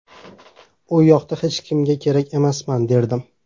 U yoqda hech kimga kerak emasman” derdim.